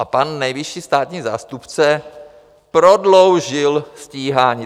A pan nejvyšší státní zástupce prodloužil stíhání.